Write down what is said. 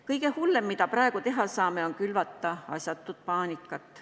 Kõige hullem, mida praegu teha saame, on külvata asjatut paanikat.